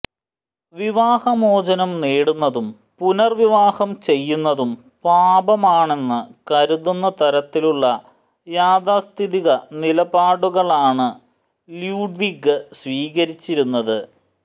വിവാഹമോചനം നേടുന്നതും പുനർവിവാഹം ചെയ്യുന്നതും പാപമാണെന്ന് കരുതുന്നതരത്തിലുള്ള യാഥാസ്ഥിതിക നിലപാടുകളാണ് ല്യൂഡ്വിഗ് സ്വീകരിച്ചിരുന്നത്